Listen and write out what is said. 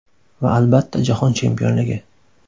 Va, albatta, Jahon chempionligi.